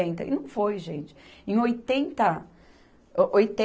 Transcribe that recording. E não foi, gente. Em oitenta, o,